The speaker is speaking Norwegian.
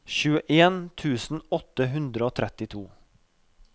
tjueen tusen åtte hundre og trettito